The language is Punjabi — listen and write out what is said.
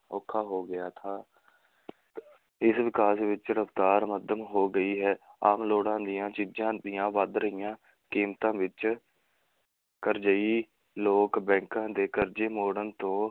ਔਖਾ ਹੋ ਗਿਆ ਥਾ ਇਸ ਵਿਕਾਸ ਵਿੱਚ ਰਫਤਾਰ ਮੱਧਮ ਹੋ ਗਈ ਹੈ, ਆਮ ਲੋੜਾਂ ਦੀਆਂ ਚੀਜ਼ਾਂ ਦੀਆਂ ਵੱਧ ਰਹੀਆਂ ਕੀਮਤਾਂ ਵਿੱਚ ਕਰਜ਼ਈ ਲੋਕ ਬੈਂਕਾਂ ਦੇ ਕਰਜ਼ੇ ਮੋੜਨ ਤੋਂ